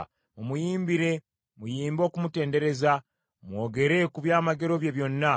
Mumuyimbire, muyimbe okumutendereza mwogere ku byamagero bye byonna.